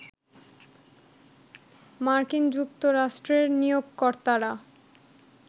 মার্কিন যুক্তরাষ্ট্রের নিয়োগকর্তারা